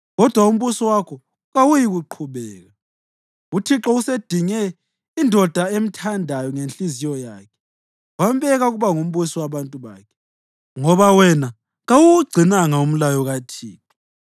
Kodwa umbuso wakho kawuyikuqhubeka; uThixo usedinge indoda emthandayo ngenhliziyo yakhe wambeka ukuba ngumbusi wabantu bakhe, ngoba wena kawuwugcinanga umlayo kaThixo.”